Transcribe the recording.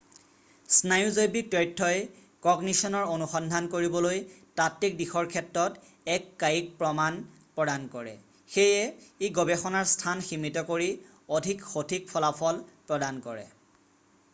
স্নায়ুজৈৱিক তথ্যই কগনিশ্যনৰ অনুসন্ধান কৰিবলৈ তাত্বিক দিশৰ ক্ষেত্ৰত এক কায়িক প্ৰমাণ প্ৰদান কৰে সেয়ে ই গৱেষণাৰ স্থান সীমিত কৰি অধিক সঠিক ফলাফল প্ৰদান কৰে